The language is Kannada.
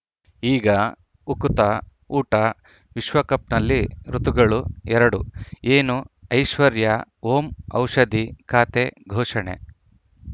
ಈಗ ಉಕುತ ಊಟ ವಿಶ್ವಕಪ್‌ನಲ್ಲಿ ಋತುಗಳು ಎರಡು ಏನು ಐಶ್ವರ್ಯಾ ಓಂ ಔಷಧಿ ಖಾತೆ ಘೋಷಣೆ